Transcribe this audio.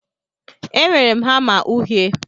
Enwere m hama uhie.